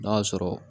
N'a sɔrɔ